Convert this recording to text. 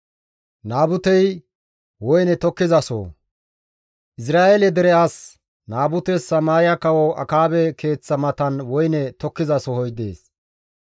Izra7eele dere as Naabutes Samaariya Kawo Akaabe keeththa matan woyne tokkizasohoy dees.